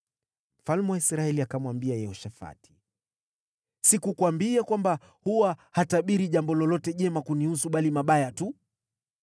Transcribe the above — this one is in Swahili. Mfalme wa Israeli akamwambia Yehoshafati, “Sikukuambia kwamba huwa hatabiri jambo lolote jema kunihusu, bali mabaya tu?”